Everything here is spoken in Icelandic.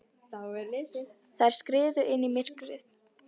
Þær skriðu inn í myrkrið.